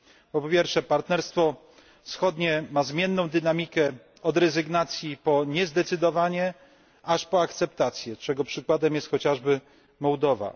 Po drugie, Partnerstwo Wschodnie ma zmienną dynamikę od rezygnacji, przez niezdecydowanie, aż po akceptację, czego przykładem jest chociażby Mołdowa.